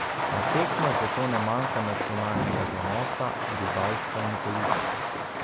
Na tekmah zato ne manjka nacionalnega zanosa, rivalstva in politike.